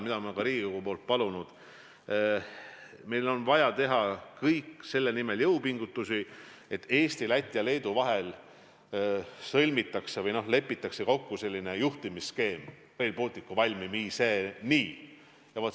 Ma olen Riigikogult palunud, et meil on vaja teha selle nimel jõupingutusi, et Eesti, Läti ja Leedu vahel lepitakse kokku juhtimisskeem Rail Balticu valmimiseni.